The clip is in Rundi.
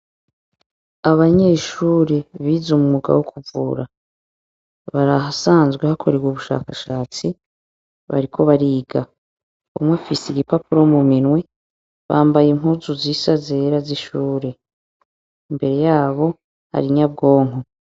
Abanyeshure biz’umwuga wo kuvura, barahasanzwe hakorerwa ubushakashatsi ,bariko bariga. Umw’afis’igipapuro muminwe, bambaye impuzu zisa zera z’ishure. Imbere yabo, har’inyabwonko.